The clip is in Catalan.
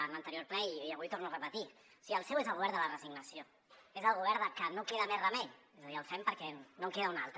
en l’anterior ple i avui ho torno a repetir o sigui el seu és el govern de la resignació és el govern de que no queda més remei és a dir el fem perquè no en queda un altre